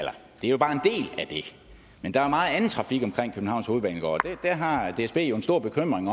det men der er meget anden trafik omkring københavns hovedbanegård og der har dsb en stor bekymring